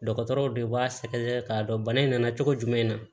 Dɔgɔtɔrɔw de b'a sɛgɛsɛgɛ k'a dɔn bana in nana cogo jumɛn na